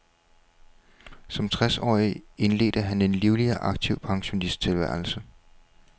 Som tres årig indledte han en livlig og aktiv pensionisttilværelse.